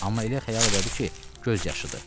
Amma elə xəyal elədi ki, göz yaşıdır.